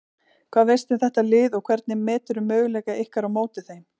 Hvað veistu um þetta lið og hvernig meturðu möguleika ykkar á móti þeim?